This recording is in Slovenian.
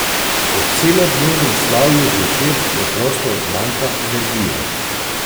Po celodnevnem slavju zvečer preprosto zmanjka energije.